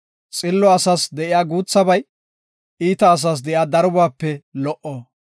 Xillo asas de7iya guuthabay, iita asas de7iya darobaape lo77o.